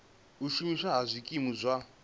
u shumiswa ha zwikimu zwa